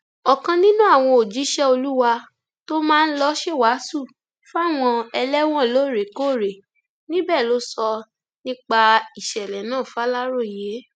ọkan nínú àwọn òjíṣẹ olúwa tó máa ń lọọ ṣèwàásù fáwọn ẹlẹwọn lóòrèkóòrè níbẹ ló sọ nípa ìṣẹlẹ náà fàlàròyé